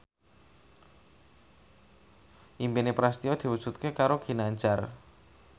impine Prasetyo diwujudke karo Ginanjar